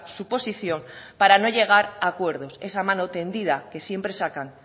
su posición para no llegar a acuerdos esa mano tendida que siempre saca